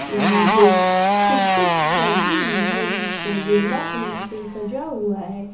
यहां दो टुकटुक रखी हुई है जिसमें गेंदा फूल से सजा हुआ है।